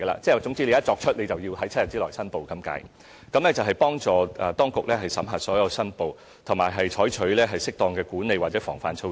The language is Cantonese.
總言之，公務員一旦作出相關投資，便要在7天內申報，以幫助當局審核所有申報，以及採取適當的管理或防範措施。